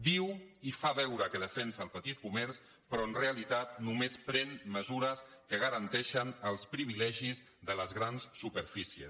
diu i fa veure que defensa el petit comerç però en realitat només pren mesures que garanteixen els privilegis de les grans superfícies